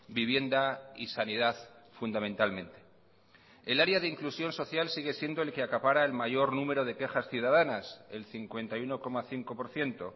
vivienda y sanidad fundamentalmente el área de inclusión social sigue siendo el que acapara el mayor número de quejas ciudadanas el cincuenta y uno coma cinco por ciento